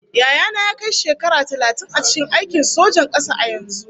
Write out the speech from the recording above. Yaya na ya kai shekara talatin a cikin aikin sojan kasa a yanzu